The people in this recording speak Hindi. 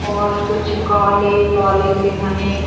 और कुछ काले काले से घने --